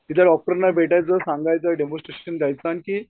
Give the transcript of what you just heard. तिथल्या डॉक्तरांना भेटायचं सांगायचं डेमॉन्स्ट्रेशन द्यायचं आणखी